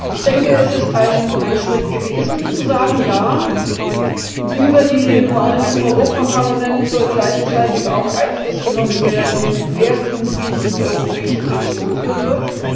Ich denke, es ist ein Schritt gewesen, zu sagen Ja, über die Wahlen zum Europaparlament soll gleichzeitig auch Einfluss genommen werden darauf, wer künftig die Europäische Kommission führen wird.